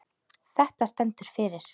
Þetta stendur fyrir